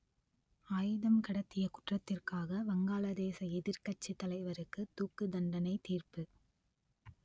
ஆயுதம் கடத்திய குற்றத்திற்காக வங்காளதேச எதிர்க்கட்சித் தலைவருக்கு தூக்குத்தண்டனை தீர்ப்பு